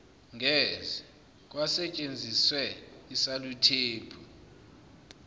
ngeze kwasentshenziswe isaluthephu